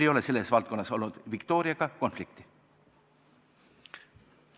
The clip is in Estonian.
Selles valdkonnas ei ole meil Viktoriaga konflikti olnud.